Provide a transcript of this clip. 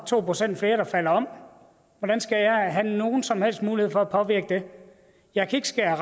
to procent flere der falder om hvordan skal jeg have nogen som helst mulighed for at påvirke det jeg kan ikke skære